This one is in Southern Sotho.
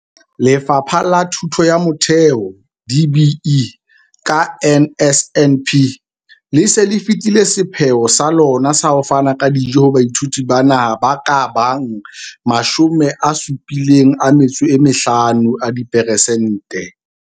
Lefapha la Thuto ya Motheo, DBE, ka NSNP, le se le fetile sepheo sa lona sa ho fana ka dijo ho baithuti ba naha ba ka bang 75 a diperesente.